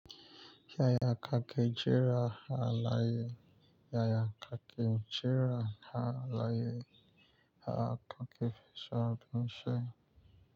Yaya kake jira a layi? Yaya kake jira a laye. Yaya kake fi so abin shai.